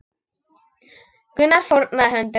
Gunnar fórnaði höndum.